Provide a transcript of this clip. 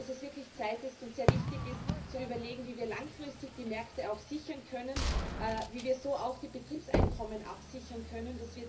Ich glaube, dass es wirklich Zeit ist und sehr wichtig ist, zu überlegen, wie wir langfristig die Märkte sichern können, wie wir so auch die Betriebseinkommen absichern können.